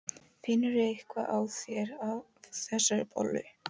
Finnurðu eitthvað á þér af þessari bollu?